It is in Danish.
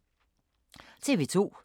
TV 2